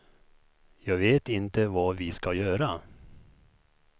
Jag vet inte vad vi ska göra.